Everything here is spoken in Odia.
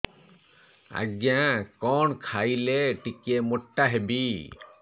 ଆଜ୍ଞା କଣ୍ ଖାଇଲେ ଟିକିଏ ମୋଟା ହେବି